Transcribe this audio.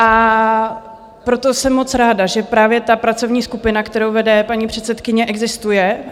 A proto jsem moc ráda, že právě ta pracovní skupina, kterou vede paní předsedkyně, existuje.